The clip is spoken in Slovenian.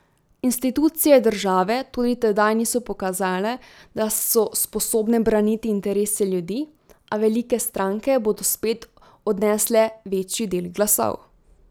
Institucije države tudi tedaj niso pokazale, da so sposobne braniti interese ljudi, a velike stranke bodo spet odnesle večji del glasov.